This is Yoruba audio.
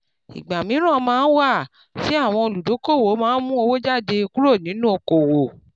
ìgbà míran máa ń wà tí àwọn olùdókoòwò má mú owó jáde kúrò nínú okoòwò